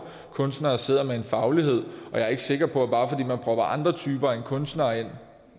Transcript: kunstnere sidder med en faglighed jeg er ikke sikker på at bare fordi man propper andre typer end kunstnere ind